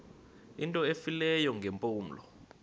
into efileyo ngeempumlo